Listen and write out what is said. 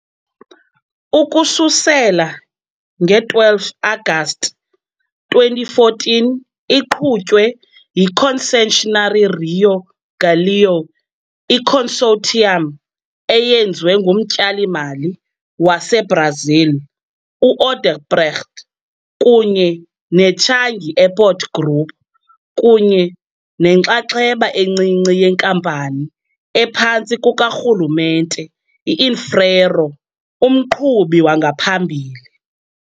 Ukususela ngo-12 Agasti 2014 iqhutywe yi- Concessionary Rio Galeão, i-consortium eyenziwe ngumtyali-mali waseBrazil u-Odebrecht kunye ne-Changi Airport Group, kunye nenxaxheba encinci yenkampani ephantsi kukarhulumente Infraero, umqhubi wangaphambili.